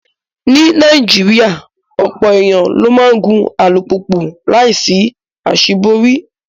Ní Nàìjíríà, ọ̀pọ̀ èèyàn ló máa ń gun alùpùpù láìsí àṣíborí